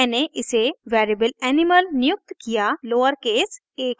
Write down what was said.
मैंने इसे variable animal नियुक्त किया लोअरकेस a के साथ